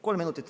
Kolm minutit.